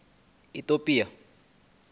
itopia